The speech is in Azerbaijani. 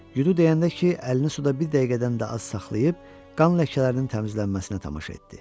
Yudu deyəndə ki, əlini suda bir dəqiqədən də az saxlayıb qan ləkələrinin təmizlənməsinə tamaşa etdi.